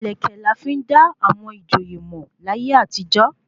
Ìlẹ̀kẹ̀ la fi n da àwọn ìjòyè mọ̀ láyé àtijọ́